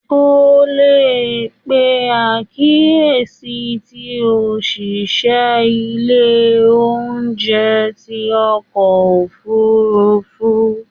O le pe akiyesi ti oṣiṣẹ ile-iṣẹ ounjẹ ti ọkọ ofurufu